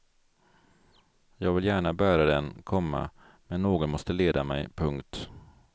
Jag vill gärna bära den, komma men någon måste leda mig. punkt